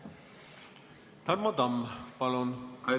Tarmo Tamm, palun!